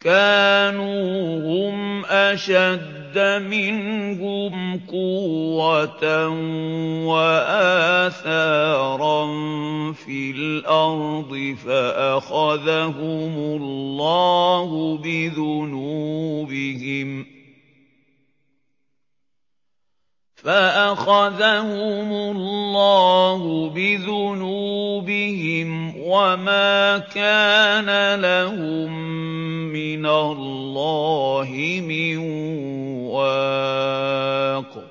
كَانُوا هُمْ أَشَدَّ مِنْهُمْ قُوَّةً وَآثَارًا فِي الْأَرْضِ فَأَخَذَهُمُ اللَّهُ بِذُنُوبِهِمْ وَمَا كَانَ لَهُم مِّنَ اللَّهِ مِن وَاقٍ